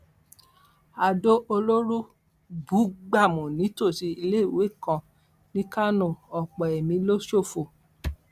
adó olóró bú gbámù nítòsí iléèwé kan ní kánò ọpọ ẹmí ló ṣófo